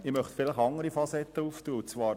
Ich möchte eine andere Facette beleuchten.